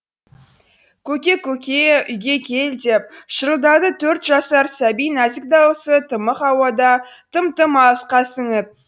көке көк е үйге кел деп шырылдады төрт жасар сәби нәзік даусы тымық ауада тым тым алысқа сіңіп